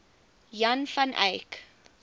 jan van eyck